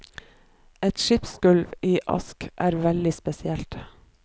Et skipsgulv i ask er veldig spesielt.